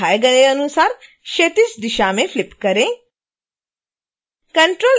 इसे दिखाए गए अनुसार क्षैतिज दिशा में फ्लिप करें